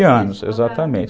treze anos, exatamente.